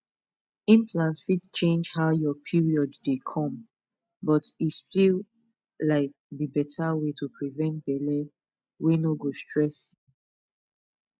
implant fit change how your period dey come but e still um be better way to prevent belle wey no go stress you